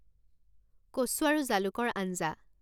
কচু আৰু জালুকৰ আঞ্জা